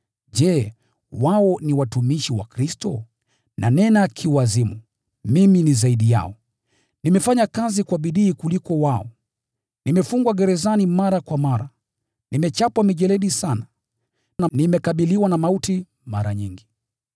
Je, wao ni watumishi wa Kristo? (Nanena kiwazimu.) Mimi ni zaidi yao. Nimefanya kazi kwa bidii kuwaliko wao, nimefungwa gerezani mara kwa mara, nimechapwa mijeledi sana, na nimekabiliwa na mauti mara nyingi.